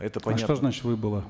это а что значит выбыло